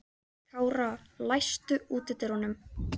Kára, læstu útidyrunum.